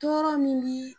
Tɔɔrɔ min bi